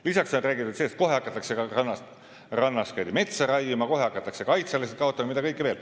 Lisaks on räägitud, et kohe hakatakse rannas metsa raiuma, kohe hakatakse kaitsealasid kaotama – mida kõike veel.